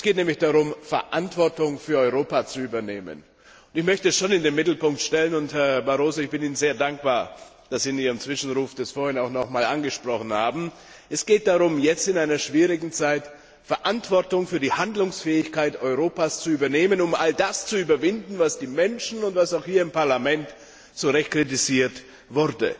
Es geht nämlich darum, Verantwortung für Europa zu übernehmen. Ich möchte schon eines in den Mittelpunkt stellen und, Herr Barroso, ich bin Ihnen sehr dankbar, dass Sie in Ihrem Zwischenruf das vorhin auch noch einmal angesprochen haben Es geht darum, jetzt in einer schwierigen Zeit Verantwortung für die Handlungsfähigkeit Europas zu übernehmen, um all das zu überwinden, was die Menschen und auch dieses Parlament zu Recht kritisiert haben.